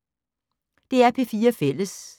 DR P4 Fælles